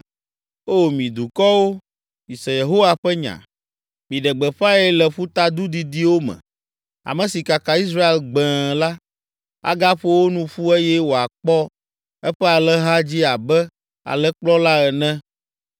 “O mi dukɔwo, mise Yehowa ƒe nya, miɖe gbeƒãe le ƒutadu didiwo me. Ame si kaka Israel gbẽe la, agaƒo wo nu ƒu eye wòakpɔ eƒe alẽha dzi abe alẽkplɔla ene!